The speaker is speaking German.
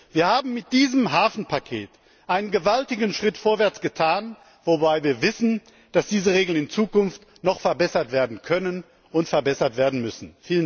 Wir haben mit diesem Hafenpaket einen gewaltigen Schritt vorwärts getan, wobei wir wissen, dass diese Regeln in Zukunft noch verbessert werden können und verbessert werden müssen.